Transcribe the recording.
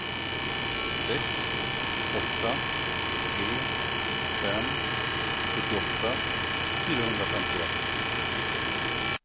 sex åtta tre fem sjuttioåtta fyrahundrafemtioett